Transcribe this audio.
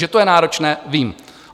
Že to je náročné, vím.